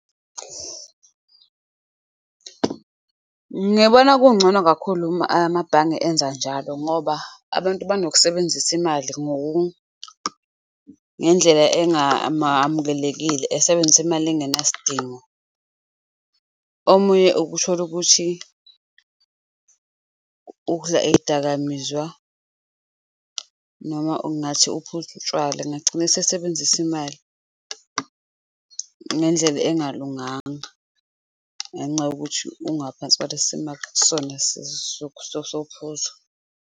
Ngiyabona kungcono kakhulu uma amabhange enza njalo ngoba abantu banokusebenzisa imali ngendlela engamamukelekile, esebenzise imali engenasidingo. Omunye ukuthole ukuthi udla iy'dakamizwa noma ungathi uphuzu utshwala, engagcina esesebenzisa imali ngendlela engalunganga ngenxa yokuthi ungaphansi kwalesi simo akusona sophuzo.